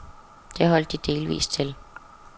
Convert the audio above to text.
Det holdt de delvis til.